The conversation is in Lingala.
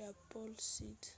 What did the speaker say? ya pole sudi